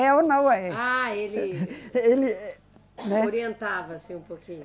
É ou não é. Ah, ele. Ele, né. Orientava assim um pouquinho.